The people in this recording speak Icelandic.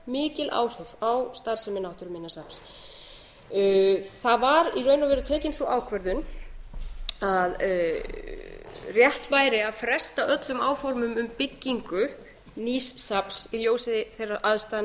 mikil áhrif á starfsemi náttúruminjasafns það var í raun og veru tekin sú ákvörðun að rétt væri að fresta öllum áformum um byggingu nýs safns í ljósi þeirra aðstæðna